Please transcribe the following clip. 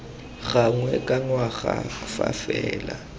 gangwe ka ngwaga fa fela